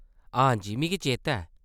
हां जी मिगी चेता ऐ।